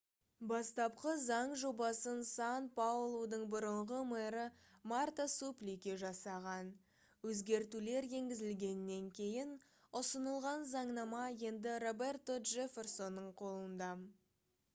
бастапқы заң жобасын сан-паулудың бұрынғы мэрі марта суплики жасаған өзгертулер енгізілгеннен кейін ұсынылған заңнама енді роберто джефферсонның қолында